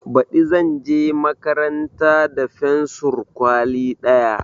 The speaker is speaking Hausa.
Baɗi zanje makaranta da fensur kwali ɗaya